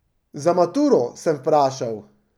Za maturo, sem vprašal.